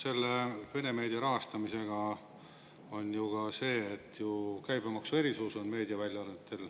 Selle vene meedia rahastamisega on ju ka see, et meediaväljaannetel on käibemaksuerisus.